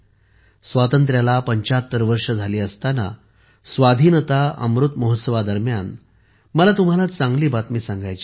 स्वातंत्र्याला ७५ वर्षे झाली असताना स्वाधीनता अमृत महोत्सवादरम्यान मला तुम्हाला चांगली बातमी सांगायची आहे